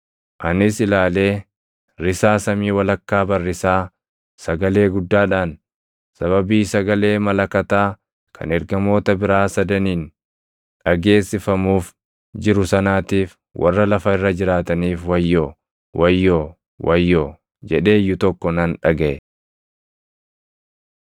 Anis ilaalee risaa samii walakkaa barrisaa sagalee guddaadhaan, “Sababii sagalee malakataa kan ergamoota biraa sadaniin dhageessifamuuf jiru sanaatiif warra lafa irra jiraataniif Wayyoo! Wayyoo! Wayyoo!” jedhee iyyu tokko nan dhagaʼe.